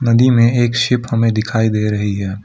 नदी में एक शिप हमें दिखाई दे रही है।